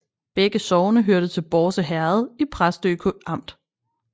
Begge sogne hørte til Bårse Herred i Præstø Amt